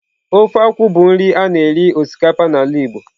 Ofe akwu bụ nri a na-eri osikapa n'ala Igbo.